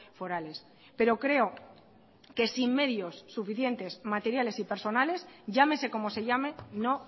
forales pero creo que sin medios suficientes materiales y personales llámese como se llame no